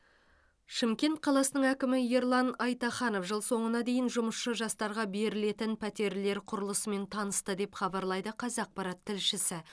шымкент қаласының әкімі ерлан айтаханов жыл соңына дейін жұмысшы жастарға берілетін пәтерлер құрылысымен танысты деп хабарлайды қазақпарат тілшісі